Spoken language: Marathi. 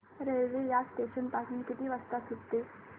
रेल्वे या स्टेशन पासून किती वाजता सुटते